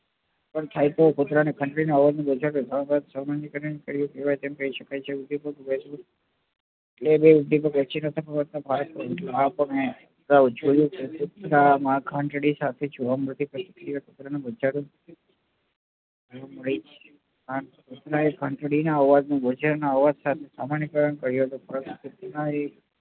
માં ઘંટડી સાથે કુતરા એ ઘંટડી ના અવાજ નું બચા ના અવાજ સાથે